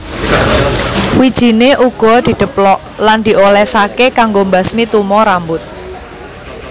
Wijiné uga didheplok lan diolèsaké kanggo mbasmi tumo rambut